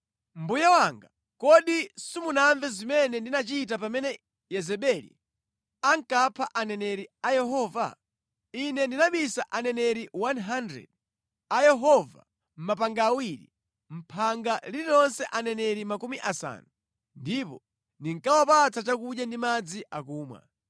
Mbuye wanga, kodi simunamve zimene ndinachita pamene Yezebeli ankapha aneneri a Yehova? Ine ndinabisa aneneri 100 a Yehova mʼmapanga awiri, mʼphanga lililonse aneneri makumi asanu, ndipo ndinkawapatsa chakudya ndi madzi akumwa.